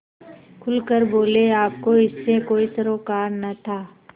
खुल कर बोलेआपको इससे कोई सरोकार न था